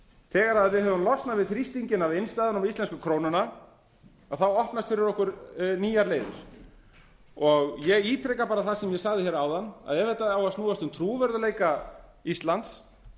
þegar við höfum losnað við þrýstinginn af innstæðunum á íslensku krónuna opnast fyrir okkur nýjar leiðir ég ítreka bara það sem ég sagði hérna áðan að ef þetta á að snúast um trúverðugleika íslands